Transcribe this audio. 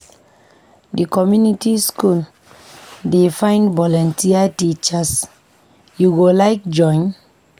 Di community skool dey find volunteer teachers, you go like join?